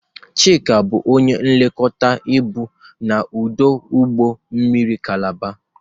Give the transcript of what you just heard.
Chika bụ onye nlekọta ibu na ọdụ ụgbọ mmiri Kalaba.